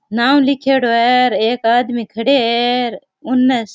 नाम लीखेड़ो है और एक आदमी खड़े है उन।